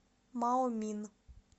маомин